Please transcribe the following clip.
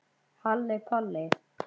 Halli Palli.